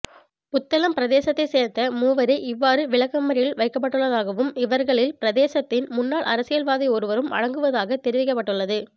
புத்தளம் பிரதேசத்தைச் சேர்ந்த மூவரே இவ்வாறு விளக்கமறியலில் வைக்கப்பட்டுள்ளதாகவும் இவர்களில் பிரதேசத்தின் முன்னாள் அரசியல்வாதியொருவரும் அடங்குவதாகத் தெரிவிக்கப்பட்டுள்ளது